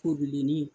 Ko bilenni